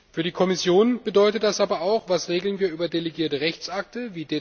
Für die Kommission bedeutet das aber auch Was regeln wir über delegierte Rechtsakte?